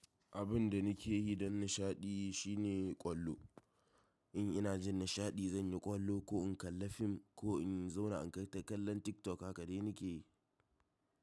Abin da nake yi don nishaɗi shine ƙwallo. In ina jin nishaɗi zan yi ƙwallo ko in kalla fim ko in zauna in kalla TikTok haka dai nake yi.